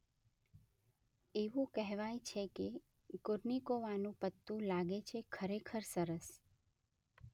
એવું કહેવાય છે કે કુર્નિકોવાનું પત્તું લાગે છે ખરેખર સરસ